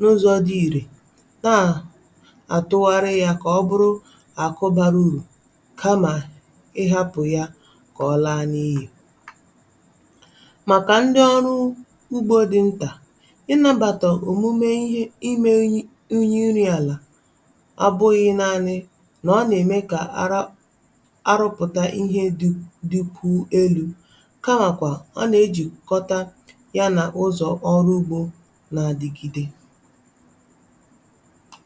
n’ụzọ̇ dị̇ irè, nà àtụgharị yȧ kà ọ bụrụ àkụ bara urù kamà ị hȧpụ̀ ya kà ọ laa n’iyi. Màkà ndi ọrụ ugbȯ dị nta, ị nȧbàtà òmume i me unyi unyi nri̇ àlà a bughi naanị̇ nà a nà-ème kà ara a rụpụ̀ta ihe di dikwu elu̇ kàmakwà, a nà-ejìkọta ya nà ụzọ̀ ọrụ ugbȯ na-adigide.